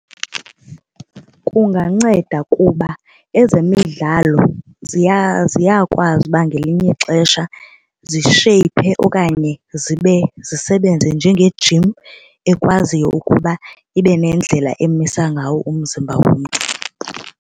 Kunganceda kuba ezemidlalo ziyakwazi uba ngelinye ixesha zisheyiphe okanye zisebenze njengejim ekwaziyo ukuba ibe nendlela emisa ngawo umzimba womntu.